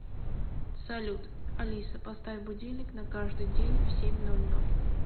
салют алиса поставь будильник на каждый день в семь ноль ноль